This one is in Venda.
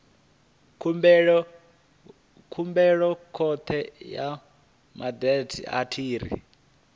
khumbelo khothe ya madzhisi ṱira